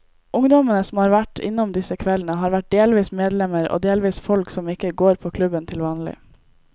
Ungdommene som har vært innom disse kveldene, har vært delvis medlemmer og delvis folk som ikke går på klubben til vanlig.